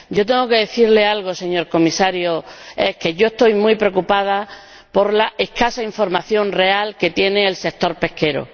Yo tengo que decirle algo, señor Comisario, y es que yo estoy muy preocupada por la escasa información real que tiene el sector pesquero